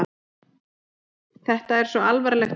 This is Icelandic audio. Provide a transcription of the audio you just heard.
Þetta er svo alvarlegt hús.